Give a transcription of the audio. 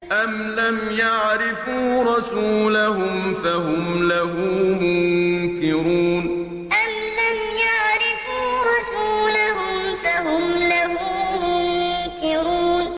أَمْ لَمْ يَعْرِفُوا رَسُولَهُمْ فَهُمْ لَهُ مُنكِرُونَ أَمْ لَمْ يَعْرِفُوا رَسُولَهُمْ فَهُمْ لَهُ مُنكِرُونَ